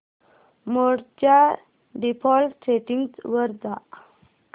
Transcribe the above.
मोड च्या default settings वर जा